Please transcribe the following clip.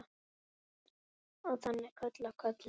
Og þannig koll af kolli.